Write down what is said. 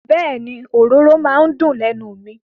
Bẹ́ẹ̀ni, òróró maa n dùn lẹ́nu mi.